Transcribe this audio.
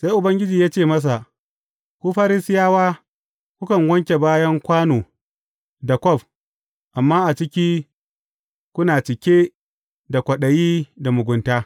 Sai Ubangiji ya ce masa, Ku Farisiyawa, kukan wanke bayan kwano da kwaf, amma a ciki kuna cike da kwaɗayi da mugunta.